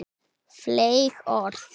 Fleyg orð.